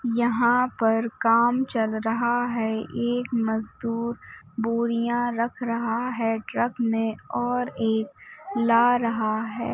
यहाँ पर काम चल रहा हैएक मजदूर बोरियाँ रख रहा है ट्रक में और एक ला रहा है ।